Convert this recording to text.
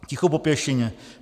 Ticho po pěšině!